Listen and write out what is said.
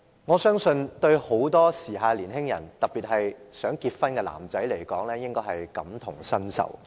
我相信很多時下年青人，特別是想結婚的男士應該感同身受。